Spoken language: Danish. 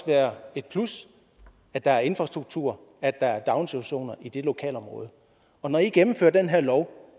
være et plus at der er infrastruktur at der er daginstitutioner i det lokalområde og når i gennemfører den her lov